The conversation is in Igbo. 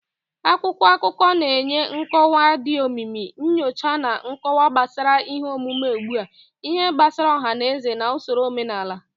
Akwụkwọ akụkọ na-enye nkọwa dị omimi, nyocha na nkọwa gbasara ihe omume ugbu a, ihe gbasara ọha na eze na usoro omenala.